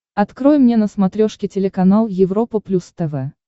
открой мне на смотрешке телеканал европа плюс тв